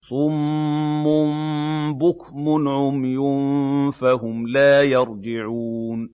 صُمٌّ بُكْمٌ عُمْيٌ فَهُمْ لَا يَرْجِعُونَ